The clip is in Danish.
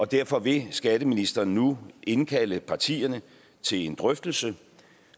derfor vil skatteministeren nu indkalde partierne til en drøftelse